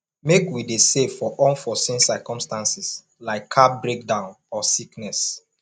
make we dey save for unforeseen circumstances like car breakdown or sickness